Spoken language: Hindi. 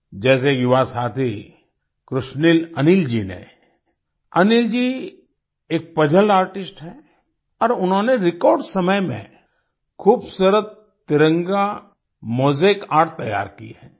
जैसे युवा साथी कृशनील अनिल जी ने अनिल जी एक पजल आर्टिस्ट हैं और उन्होंने रेकॉर्ड समय में खूबसूरत तिरंगा मोजाइक आर्ट तैयार की है